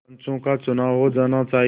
पंचों का चुनाव हो जाना चाहिए